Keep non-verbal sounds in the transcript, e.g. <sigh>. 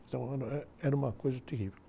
então, <unintelligible> eh, era uma coisa terrível.